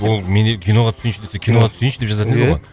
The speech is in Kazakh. болды менде киноға түсейінші десе киноға түсейінші деп жазатын еді ғой